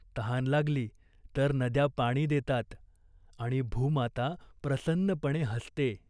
तहान लागली तर नद्या पाणी देतात आणि भूमाता प्रसन्नपणे हसते.